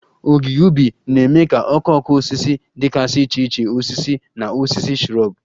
Ogige ubi na-eme ka okooko osisi dịgasị iche iche, osisi na osisi shrub.